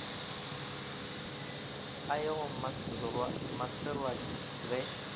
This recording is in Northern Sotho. a ye go mmaserwadi ge